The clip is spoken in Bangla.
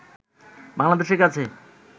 বাংলাদেশের কাছে